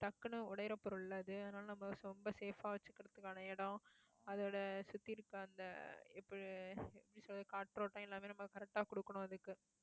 டக்குன்னு உடையிற பொருள் அது அதனால நம்ம ரொம்ப safe ஆ வச்சுக்கிறதுக்கான இடம் அதோட சுத்தி இருக்கிற அந்த எப்~எப்படி சொல்றது காற்றோட்டம் எல்லாமே நம்ம correct ஆ கொடுக்கணும் அதுக்கு